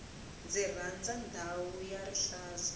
ndzi rhandza ndhawu ya rihlaza